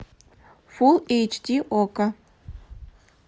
фул эйч ди окко